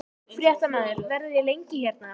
Fréttamaður: Verðið þið lengi hérna?